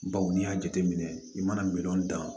Baw n'i y'a jateminɛ i mana minɛnw dan